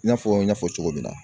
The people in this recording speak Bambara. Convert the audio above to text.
I y'a fɔ n y'a fɔ cogo min na.